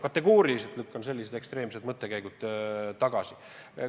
Ma kategooriliselt lükkan sellised ekstreemsed mõtted tagasi.